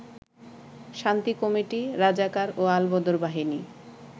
শান্তি কমিটি, রাজাকার ও আলবদর বাহিনী